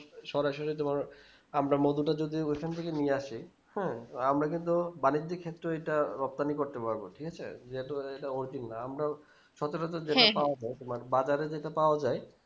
সরাসরি তোমরা আমরা মধুটা যদি ওখান থেকে নিয়ে আসি হ্যাঁ আমরা কিন্তু বাণিজ্যিক ক্ষেত্রে ওইটা রপ্তানি করতে পারবো ঠিক আছে জি আমরাও সতেরোতে যেটা পাওয়া যাই তোমার বাজারে যেটা পাও যাই